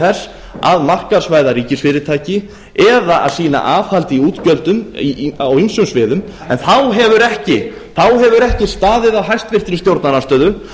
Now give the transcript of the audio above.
þess að markaðsvæða ríkisfyrirtæki eða að sýna aðhald í útgjöldum á ýmsum sviðum en þá hefur ekki staðið á háttvirtu stjórnarandstöðu